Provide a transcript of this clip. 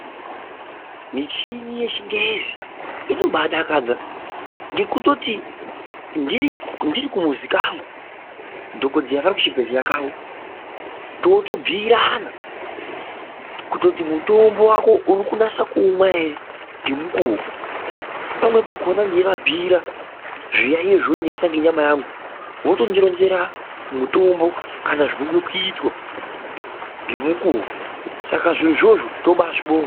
Michini yechingezi inoba adakadza ngekutitoti ndiri kumuzi kangu dhokodheya vari kuchbhehlera kawo totobhuyirana kutoti mutombo wako urikunase kuumwa ere ngemukuwo, pamweni pakona ndeiya bhuyirwa zviyayiyo zvinondinesa ngenyama yangu votondironzera mutombo kana zvinode kuitwa ngemukuwo. Saka zvirozvozvo toba azvibonga.